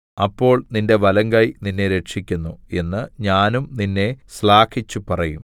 അപ്പോൾ നിന്റെ വലങ്കൈ നിന്നെ രക്ഷിക്കുന്നു എന്ന് ഞാനും നിന്നെ ശ്ലാഘിച്ചുപറയും